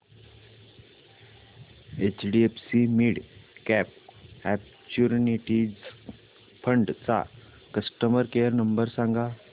HDFC midcap opportunities fund चा customer care number सांग